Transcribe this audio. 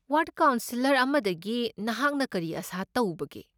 Ward councillor ꯑꯃꯗꯒꯤ ꯅꯍꯥꯛꯅ ꯀꯔꯤ ꯑꯥꯁꯥ ꯇꯧꯕꯒꯦ?